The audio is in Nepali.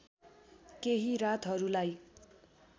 केही रातहरूलाई